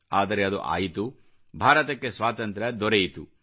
ಆದರೆ ಅದು ಆಯಿತು ಭಾರತಕ್ಕೆ ಸ್ವಾತಂತ್ರ್ಯ ದೊರೆಯಿತು